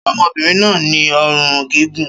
Ṣé ọmọbìnrin náà ní ọrùn gígùn?